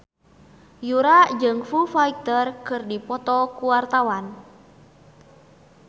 Yura jeung Foo Fighter keur dipoto ku wartawan